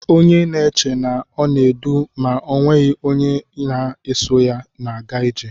Onye na-eche na ọ na-edu ma ọ nweghị onye na-eso ya na-aga ije.